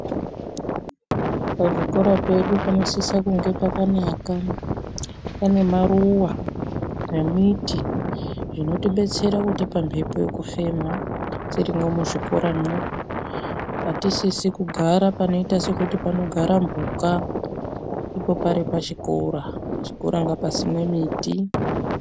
Pazvikora pedu panosisa kunge pakanaka pane maruva nemiti zvinotibetsera kutipa mhepo yekufuma. Tirimwo muzvikoramwo hatisisi kugara panoita sekuti panogara mhuka ipo pari pachikora, pachikora ngapasimwe miti.